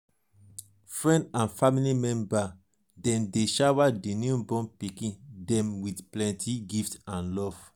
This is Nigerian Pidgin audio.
friend and family member dem dey shower di newborn pikin dem with plenty gift and love.